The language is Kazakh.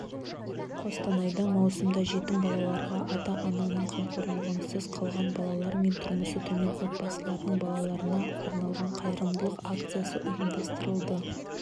қостанайда маусымда жетім балаларға ата-ананың қамқорлығынсыз қалған балалар мен тұрмысы төмен отбасылардың балаларына арналғанқайырымдылық акциясы ұйымдастырылады